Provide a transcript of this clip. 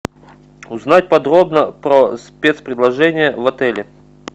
узнать подробно про спецпредложения в отеле